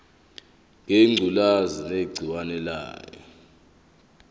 ngengculazi negciwane layo